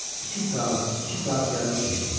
İki saat, iki saat yarım keçdi.